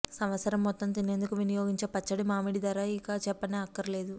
సంవత్సరం మొత్తం తినేందుకు వినియోగించే పచ్చడి మామిడి ధర ఇక చెప్పనే అక్కర్లేదు